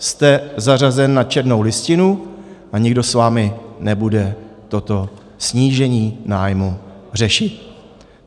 Jste zařazen na černou listinu a nikdo s vámi nebude toto snížení nájmu řešit.